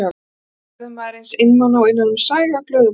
Hvergi verður maður eins einmana og innan um sæg af glöðu fólki.